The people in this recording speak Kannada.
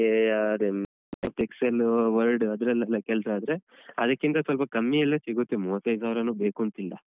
ಅದೇ ನಿಂಗೆ ಅದೇ Excel, Word ಅದ್ರೆಲ್ಲೆನಾ ಕೆಲ್ಸ ಆದ್ರೆ ಅದಕ್ಕಿಂತ ಸ್ವಲ್ಪ ಕಮ್ಮಿಯಲ್ಲೂ ಸಿಗುತ್ತೆ ಮೂವತ್ತೈದ್ ಸಾವಿರಾನೂ ಬೇಕೂಂತಿಲ್ಲ.